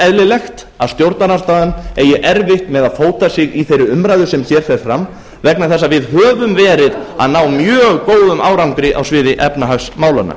eðlilegt að stjórnarandstaðan eigi erfitt með að fóta sig í þeirri umræðu sem hér fer fram vegna þess að við höfum verið að ná mjög góðum árangri á sviði efnahagsmálanna